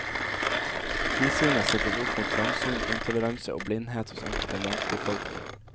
Vidsynet settes opp mot trangsyn, intoleranse og blindhet hos enkelte landsbyfolk.